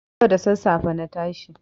Yau da sassafe na tashi.